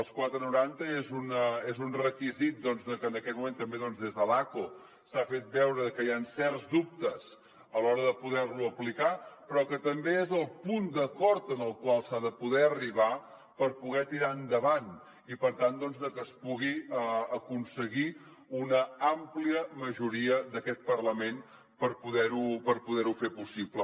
els quatre coma noranta és un requisit que en aquest moment doncs també des de l’acco s’ha fet veure que hi han certs dubtes a l’hora de poder lo aplicar però que també és el punt d’acord al qual s’ha de poder arribar per poder tirar endavant i per tant doncs que es pugui aconseguir una àmplia majoria d’aquest parlament per poder ho fer possible